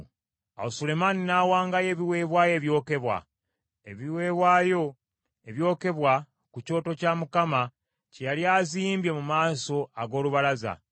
Awo Sulemaani n’awangayo ebiweebwayo ebyokebwa, ebiweebwayo ebyokebwa ku kyoto kya Mukama kye yali azimbye mu maaso ag’olubalaza,